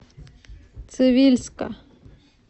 цивильска